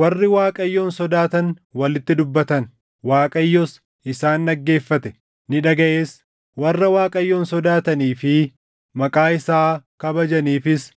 Warri Waaqayyoon sodaatan walitti dubbatan; Waaqayyos isaan dhaggeeffate; ni dhagaʼes. Warra Waaqayyoon sodaatanii fi maqaa isaa kabajaniifis